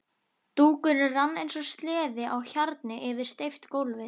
Dúkurinn rann eins og sleði á hjarni yfir steypt gólfið.